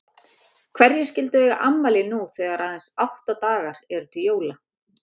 Hverjir skyldu eiga afmæli nú þegar aðeins átta dagar eru til jóla?